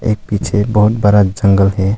एक पीछे बहोत बड़ा जंगल है।